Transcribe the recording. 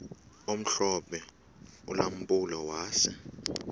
omhlophe ulampulo wase